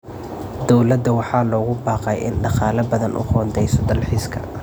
Dowladda waxaa loogu baaqay in ay dhaqaale badan u qoondeyso dalxiiska.